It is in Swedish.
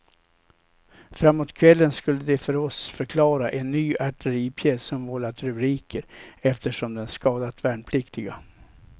Framåt kvällen skulle de för oss förklara en ny artilleripjäs som vållat rubriker eftersom den skadat värnpliktiga.